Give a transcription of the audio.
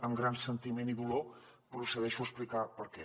amb gran sentiment i dolor procedeixo a explicar per què